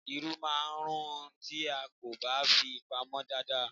Irú máà ń rún tí a kò bá fi pamô dada.